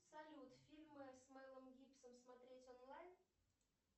салют фильмы с мэлом гибсоном смотреть онлайн